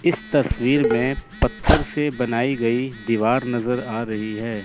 इस तस्वीर में पत्थर से बनाई गई दीवार नजर आ रही है।